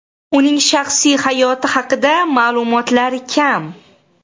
Uning shaxsiy hayoti haqida ma’lumotlar kam.